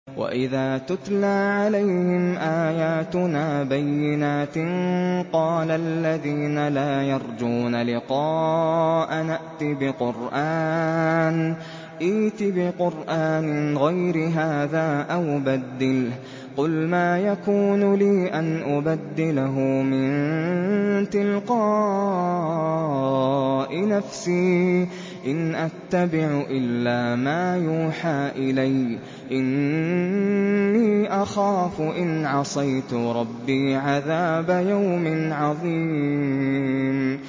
وَإِذَا تُتْلَىٰ عَلَيْهِمْ آيَاتُنَا بَيِّنَاتٍ ۙ قَالَ الَّذِينَ لَا يَرْجُونَ لِقَاءَنَا ائْتِ بِقُرْآنٍ غَيْرِ هَٰذَا أَوْ بَدِّلْهُ ۚ قُلْ مَا يَكُونُ لِي أَنْ أُبَدِّلَهُ مِن تِلْقَاءِ نَفْسِي ۖ إِنْ أَتَّبِعُ إِلَّا مَا يُوحَىٰ إِلَيَّ ۖ إِنِّي أَخَافُ إِنْ عَصَيْتُ رَبِّي عَذَابَ يَوْمٍ عَظِيمٍ